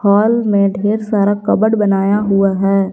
Hall में ढेर सारा कबोर्ड बनाया हुआ है।